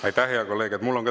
Aitäh, hea kolleeg!